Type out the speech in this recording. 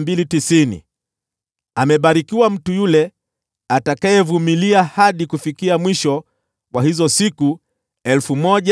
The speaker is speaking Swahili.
Amebarikiwa mtu yule atakayevumilia hadi kufikia mwisho wa hizo siku 1,335.